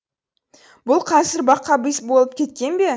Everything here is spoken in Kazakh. бұл қазір бақабис болып кеткен бе